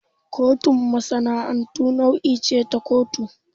Kotun masana'antu nau'i ce ta kotu.